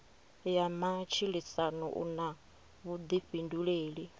ya matshilisano u na vhuḓifhinduleli